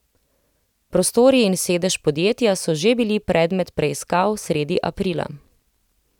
Prostori in sedež podjetja so že bili predmet preiskav sredi aprila.